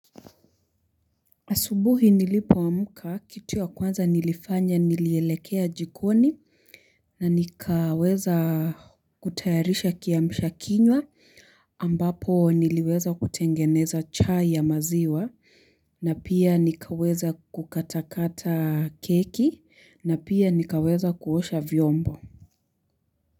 Asubuhi nilipo amka kitu ya kwanza nilifanya nilielekea jikoni na nikaweza kutayarisha kiamshakinywa ambapo niliweza kutengeneza chai ya maziwa na pia nikaweza kukatakata keki na pia nikaweza kuosha vyombo.